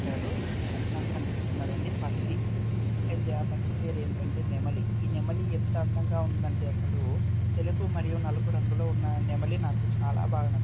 అంటారు అదినాకు కనిపిస్తున్నదండి పక్షి అయితే ఆ పక్షి పేరు ఏంటంటే నెమలి ఈ నెమలి ఎంత అందంగా ఉందంటే అసలు తెలుపు మరియు నలుపు రంగులో ఉన్న నెమలి నాకు చాల బాగ న --